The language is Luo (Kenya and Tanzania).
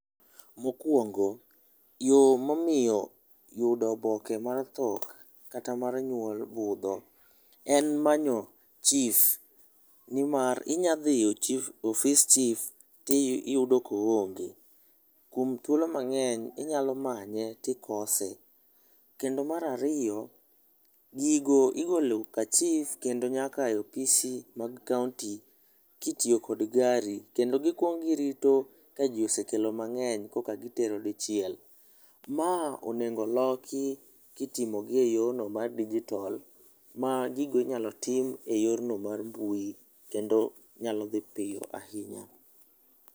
Mokwongo, yo momiyo yudo oboke mar tho kata mar nywol budho en manyo chief, nimar inya dhi ofis chief tiyudo koonge. Kuom thuolo mang'eny inyalo manye tikose. Kendo mar ariyo, gigo igolo ka chief kendo nyaka e opis mar kaonti kitiyo kod gari, kendo gikwongo girito ka ji osekelo mang'eny, koka gitero dichiel. Ma onego loki kitimo gi e yono mar dijitol ma gigo inyalo tim e yorno mar mbui, kendo nyalo dhi piyo ahinya.